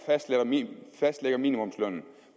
fastlægger minimumslønnen